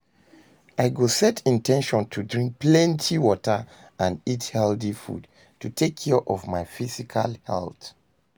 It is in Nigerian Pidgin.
I go set in ten tion to drink plenty water and eat healthy food to take care of my physical health.